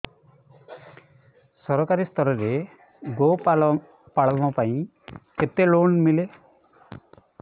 ସରକାରୀ ସ୍ତରରେ ଗୋ ପାଳନ ପାଇଁ କେତେ ଲୋନ୍ ମିଳେ